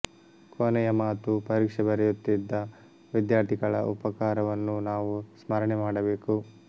ಕೊನೆಯ ಮಾತು ಪರೀಕ್ಷೆ ಬರೆಯುತ್ತಿದ್ದ ವಿದ್ಯಾರ್ಥಿಗಳ ಉಪಕಾರವನ್ನೂ ನಾವು ಸ್ಮರಣೆ ಮಾಡಬೇಕು